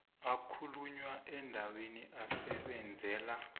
akhulunywa endaweni asebenzela